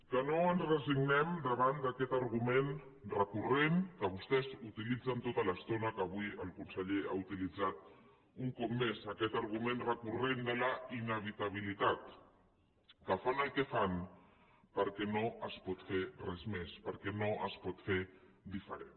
que no ens resignem davant d’aquest argument recurrent que vostès utilitzen tota l’estona que avui el conseller ha utilitzat un cop més aquest argument recurrent de la inevitabilitat que fan el que fan perquè no es pot fer res més perquè no es pot fer diferent